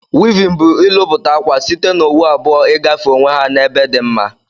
Wivin bu ilụputa akwa site na owu abụọ igafe onwe ha na ebe di mma.